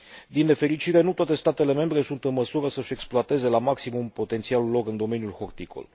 Din nefericire, nu toate statele membre sunt în măsură să și exploateze la maximum potențialul lor în domeniul horticol.